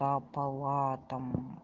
по палатам